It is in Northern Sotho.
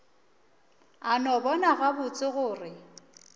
a no bona gabotse gore